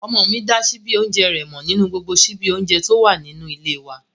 Ọmọ mi dá síbí oúnjẹ rẹ̀ mọ̀ nínú gbogbo síbí oúnjẹ tó wà nínú ilé e wa